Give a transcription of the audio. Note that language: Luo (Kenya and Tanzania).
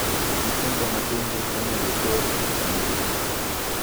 Nyithindo matindo okonego or e chiro.